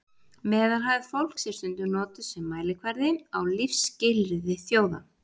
meðalhæð fólks er stundum notuð sem mælikvarði á lífsskilyrði þjóða